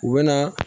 U bɛ na